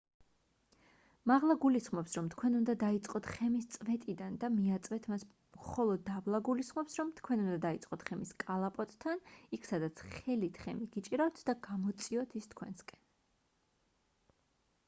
მაღლა გულისხმობს რომ თქვენ უნდა დაიწყოთ ხემის წვეტიდან და მიაწვეთ მას ხოლო დაბლა გულისხმობს რომ თქვენ უნდა დაიწყოთ ხემის კალაპოტთან იქ სადაც ხელით ხემი გიჭირავთ და გამოწიოთ ის თქვენკენ